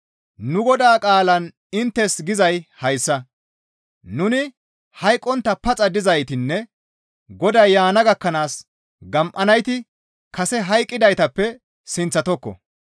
Nu Godaa qaalan inttes gizay hayssa; nuni hayqqontta paxa dizaytinne Goday yaana gakkanaas gam7anayti kase hayqqidaytappe sinththatokko.